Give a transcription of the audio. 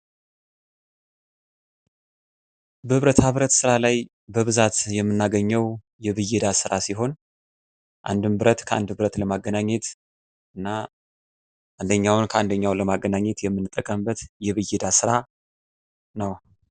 በብረታብረት ስራ ላይ በብዛት የምናገኘው የብየዳ ስራ ሲሆን አንድን ብረት ከአንድ ብረት ለማገናኘት እና አንደኛውን ከአንደኛው ለማገናኘት የምንጠቀምበት የብየዳ ስራ ነው።